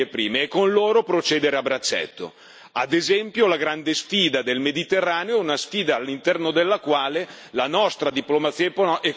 Ad esempio, la grande sfida del Mediterraneo è una sfida all'interno della quale la nostra diplomazia economica può giocare un ruolo eccezionale.